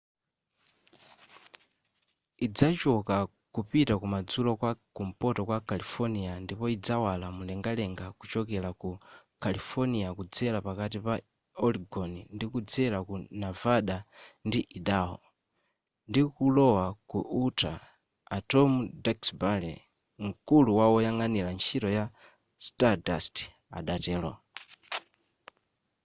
idzachoka kupita kumadzulo kwa kumpoto kwa califonia ndipo idzawala mumlengalenga kuchokera ku california kudzera pakati pa oregon ndikudzera ku navada ndi idaho ndikulowa ku utah a tom duxbury mkulu woyang'anira ntchito ya stardust adatero